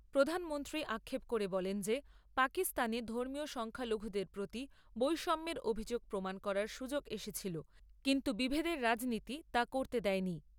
প্রধানমন্ত্রী আক্ষেপ করে বলেন যে পাকিস্থানে ধর্মীয় সংখ্যালঘুদের প্রতি বৈষম্যের অভিযোগ প্রমাণ করার সুযোগ এসেছিল কিন্তু বিভেদের রাজনীতি তা করতে দেয়নি।